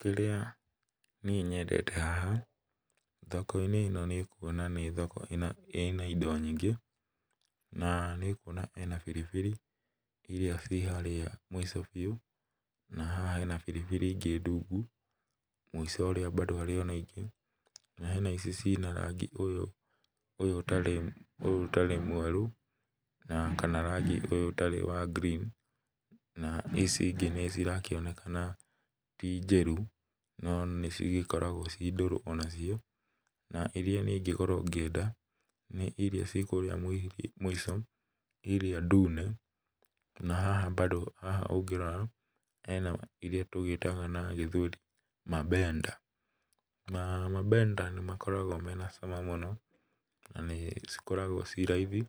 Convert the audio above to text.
Kĩrĩa niĩ nyedete haha thoko-inĩ ĩno nĩ kuona nĩ thoko ĩna ĩna indo nyingĩ, na nĩ kuona ĩna biribiri, iria ciĩ harĩa mũico biũ, na haha hena biribiri ingĩ ndungu, mũico ũrĩa bado harĩ ona ingĩ na hena ici ciĩna rangi ũyũ ũyũ ũtarĩ ũyũ ũtarĩ mweru, na kana rangi ũyũ ũtarĩ wa green, na ici ingĩ nĩcirakĩonekana ti njĩru, no nĩcigĩkoragwo ciĩ ndũrũ onacio. Na, iria niĩ ingĩkorwo ngĩenda, nĩ iria ciĩ kũrĩa mũcio, iria ndune, na haha bado haha ũngĩrora hena iria tũgĩtaga na Gĩthweli mabenda. Mabenda nĩmakoragwo mena cama mũno na nĩcikoragwo ciĩ raithi,